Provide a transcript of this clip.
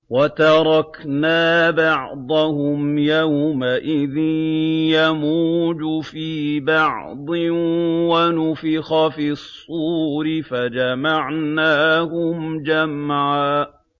۞ وَتَرَكْنَا بَعْضَهُمْ يَوْمَئِذٍ يَمُوجُ فِي بَعْضٍ ۖ وَنُفِخَ فِي الصُّورِ فَجَمَعْنَاهُمْ جَمْعًا